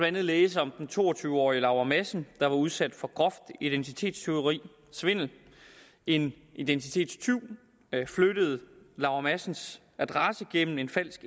andet læse om den to og tyve årige laura madsen der var udsat for groft identitetstyverisvindel en identitetstyv flyttede laura madsens adresse gennem en falsk